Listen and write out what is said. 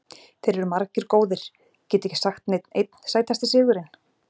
Þeir eru margir góðir, get ekki sagt neinn einn Sætasti sigurinn?